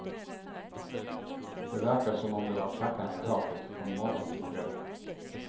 Det verkar som om det var klackarna i taket från morgon till kväll.